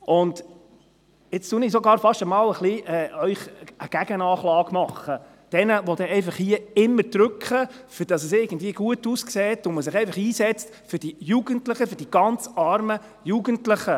Nun mache ich Ihnen vielleicht sogar fast ein wenig eine Gegenanklage – jenen, die hier immer drücken, damit es irgendwie gut aussieht, wenn man sich einfach für die Jugendlichen einsetzt, für die «ganz armen» Jugendlichen.